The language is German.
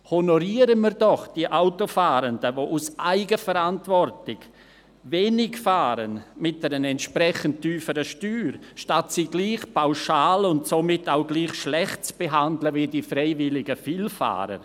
Honorieren wir doch die Autofahrenden, die aus Eigenverantwortung wenig fahren, mit einer entsprechend tieferen Steuer, statt sie gleich pauschal und somit gleich schlecht zu behandeln wie die freiwilligen Vielfahrer.